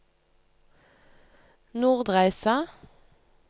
Nordreisa